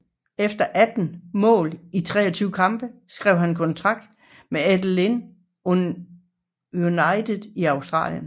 Efter 18 mål i 23 kampe skrev han kontrakt med Adelaide United i Australien